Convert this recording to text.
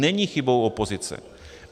Není chybou opozice.